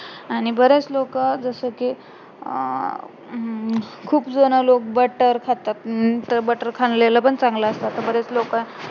आणि बरेच लोकं जसेकी अं खूप जे आहे ना लोक butter खातात अं तर butter खाल्लेलं पण चांगलं असत असे बरेच लोक आहे